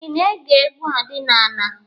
Ị na-ege egwu ọdịnala.